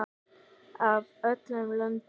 Af öllum löndum.